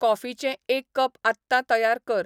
कॉफिचें एक कप आत्तां तयार कर